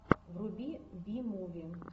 вруби би муви